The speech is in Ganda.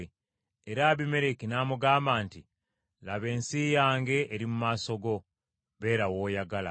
Era Abimereki n’amugamba nti, “Laba ensi yange eri mu maaso go, beera w’oyagala.”